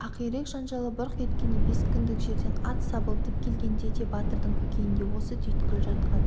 ақирек жанжалы бұрқ еткенде бес күндік жерден ат сабылтып келгенде де батырдың көкейінде осы түйткіл жатқан